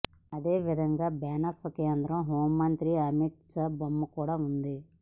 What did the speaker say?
అదేవిధంగా బ్యానర్పై కేంద్ర హోంమంత్రి అమిత్ షా బొమ్మ కూడా ఉంది